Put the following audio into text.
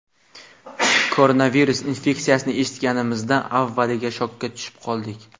Koronavirus infeksiyasini eshitganimizda avvaliga shokka tushib qoldik.